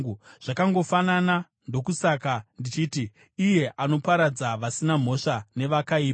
Zvakangofanana; ndokusaka ndichiti, ‘Iye anoparadza vasina mhosva nevakaipa.’